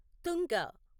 తుంగ